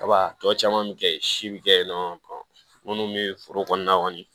Kaba tɔ caman bɛ kɛ yen si bi kɛ yen nɔ minnu bɛ foro kɔnɔna kɔni